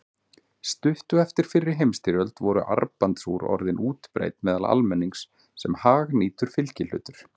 Stuttu eftir fyrri heimsstyrjöld voru armbandsúr orðin útbreidd meðal almennings sem hagnýtur fylgihlutur.